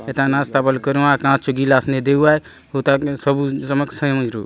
एथा नास्ता बले करुआव कांच चो गिलास ने देउआय हुंता सबु नमक समझु --